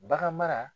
Bagan mara